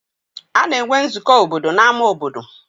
Ana enwe nzukọ obodo n'ámá obodo.